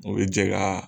O bɛ jɛ ka